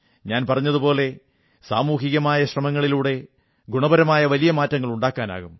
ഞാൻ പറഞ്ഞതുപോലെ സാമൂഹികമായ ശ്രമങ്ങളിലൂടെ ഗുണപരമായ വലിയ മാറ്റങ്ങൾ ഉണ്ടാക്കാനാകും